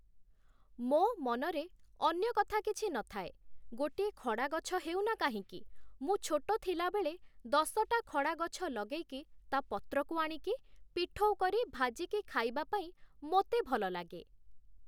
ମୋ' ମନରେ ଅନ୍ୟ କଥା କିଛି ନଥାଏ ଗୋଟିଏ ଖଡ଼ା ଗଛ ହେଉ ନା କାହିଁକି, ମୁଁ ଛୋଟ ଥିଲାବେଳେ ଦଶଟା ଖଡ଼ା ଗଛ ଲଗେଇକି ତା' ପତ୍ରକୁ ଆଣିକି ପିଠଉ କରି ଭାଜିକି ଖାଇବା ପାଇଁ ମୋତେ ଭଲ ଲାଗେ ।